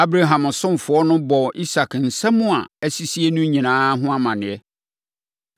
Abraham ɔsomfoɔ no bɔɔ Isak nsɛm a asisie no nyinaa ho amaneɛ.